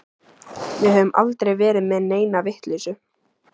Við höfum aldrei verið með neina vitleysu.